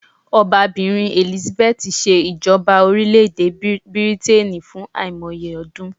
Obabìrin Elizabeth se ìjọba orílẹ̀ èdè Ilè Bìrìtìkó fún àìmoye ọdún